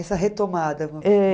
Essa retomada.